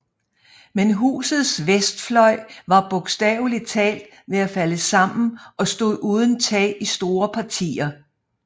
Men husets vestfløj var bogstavelig talt ved at falde sammen og stod uden tag i store partier